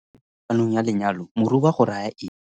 ganong ya lenyalo moroba go raya eng?